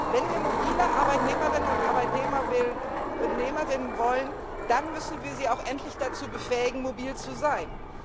Wenn wir mobile Arbeitnehmerinnen und Arbeitnehmer wollen, dann müssen wir sie auch endlich dazu befähigen, mobil zu sein.